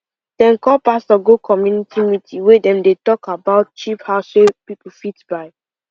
dem call pastor go community meeting wey dem dey talk about cheap house wey people fit buy